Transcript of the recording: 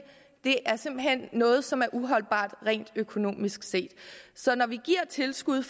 det er simpelt hen noget som er uholdbart rent økonomisk så når vi giver tilskud